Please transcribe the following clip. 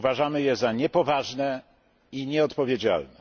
Uważamy je za niepoważne i nieodpowiedzialne.